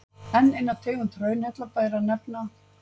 enn eina tegund hraunhella ber að nefna